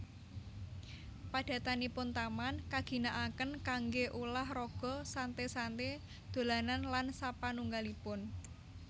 Padatanipun taman kaginakaken kanggé ulah raga santé santé dolanan lan sapanunggalipun